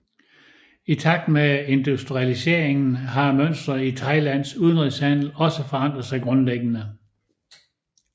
I takt med industrialiseringen har mønsteret i Thailands udenrigshandel også forandret sig grundlæggende